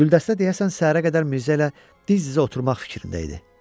Güldəstə deyəsən səhərə qədər Mirzə ilə diz-dizə oturmaq fikrində idi.